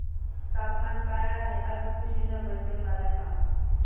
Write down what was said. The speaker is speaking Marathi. तापमान काय आहे आज कुशीनगर चे मला सांगा